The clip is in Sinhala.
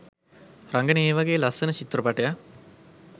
රඟන ඒ වගේ ලස්සන චිත්‍රපටයක්